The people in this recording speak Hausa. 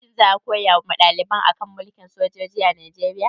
Shin za a koya wa ɗaliban a kan mulkin sojoji a Najeriya?